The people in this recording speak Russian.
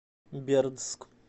бердск